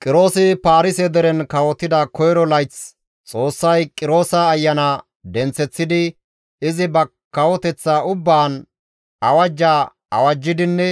Qiroosi Paarise deren kawotida koyro layth Xoossay Qiroosa ayana denththeththidi izi ba kawoteththa ubbaan awajja awajjidinne